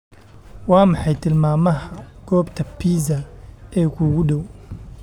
Waa maxay tilmaamaha goobta pizza ee kuugu dhow?